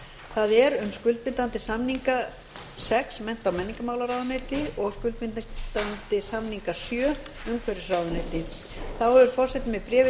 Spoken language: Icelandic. það er um skuldbindingar samninga sex mennta og menningarmálaráðuneyti og skuldbindingar varðandi samninga sjö umhverfisráðuneyti þá hefur forseti með bréfi